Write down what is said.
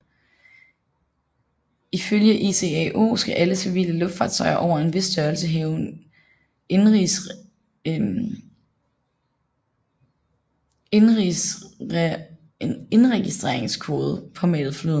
Ifølge ICAO skal alle civile luftfartøjer over en vis størrelse have en indregistreringskode påmalet flyet